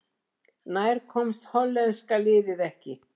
Nær komst hollenska liðið ekki